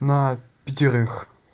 на пятерых